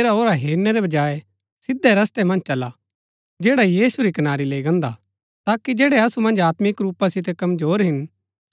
ऐराओरा हेरनै रै बजाय सिधै रस्तै मन्ज चला जैड़ा यीशु री कनारी लैई गान्दा हा ताकि जैड़ै असु मन्ज आत्मिक रूपा सितै कमजोर हिन